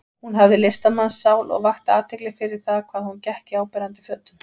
Hún hafði listamannssál og vakti athygli fyrir það hvað hún gekk í áberandi fötum.